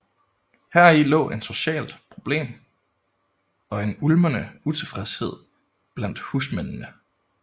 Heri lå en socialt problem og en ulmende utilfredshed blandt husmændene